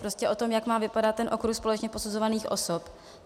Prostě o tom, jak má vypadat ten okruh společně posuzovaných osob.